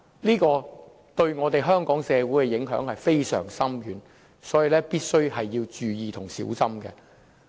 這項修改對香港社會的影響非常深遠，所以大家必須注意和小心。